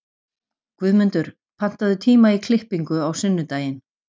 Guðmundur, pantaðu tíma í klippingu á sunnudaginn.